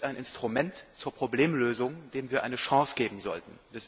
Er ist ein Instrument zur Problemlösung, dem wir eine Chance geben sollten.